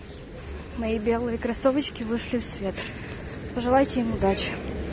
мои белые кроссовочки вышли в свет пожелайте им удачи